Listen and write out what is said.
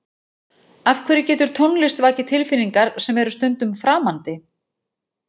Af hverju getur tónlist vakið tilfinningar sem eru stundum framandi?